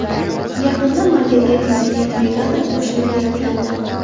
Yaqinda modelga dizelli dvigatel qo‘shilib yangilandi.